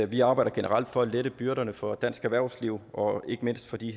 vi arbejder generelt for at lette byrderne for dansk erhvervsliv og ikke mindst for de